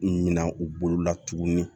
Minan u bolo la tuguni